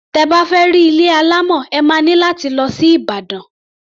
Tẹ bá fẹ́ rí ilé alámọ̀, ẹ má ní láti lọ sí Ìbàdàn.